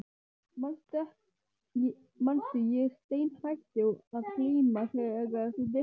Manstu, ég steinhætti að glíma þegar þú birtist.